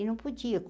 E não podia.